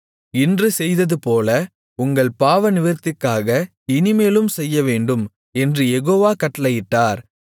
இன்று செய்ததுபோல உங்கள் பாவநிவிர்த்திக்காக இனிமேலும் செய்யவேண்டும் என்று யெகோவா கட்டளையிட்டார்